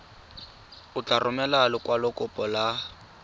o tla romela lekwalokopo la